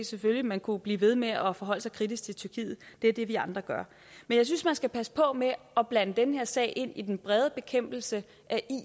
selvfølgelig kunne blive ved med at at forholde sig kritisk til tyrkiet det er det vi andre gør jeg synes man skal passe på med at blande den her sag ind i den brede bekæmpelse af